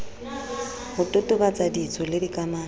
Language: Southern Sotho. ho totobatsa ditso le dikamano